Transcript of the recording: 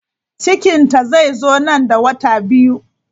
Cikinta zai zo nan da wata biyu.